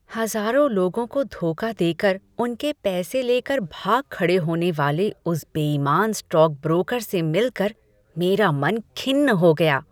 हज़ारों लोगों को धोखा देकर उनके पैसे लेकर भाग खड़े होने वाले उस बेईमान स्टॉकब्रोकर से मिलकर मेरा मन खिन्न हो गया।